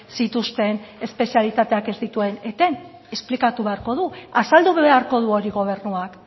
zituzten espezialitateak ez dituen eten esplikatu beharko du azaldu beharko du hori gobernuak